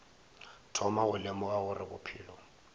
thoma go lemoga gore bophelo